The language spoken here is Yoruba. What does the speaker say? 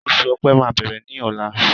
Oṣù ọ̀pẹ máa bẹ̀rẹ̀ ni ọ̀la